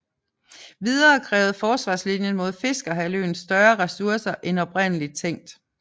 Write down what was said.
Videre krævede forsvarslinjen mod Fiskerhalvøen større ressourcer end oprindelig tænkt